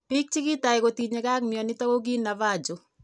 Biik chekitai kotinyegei ak mionitok ko ki Navajo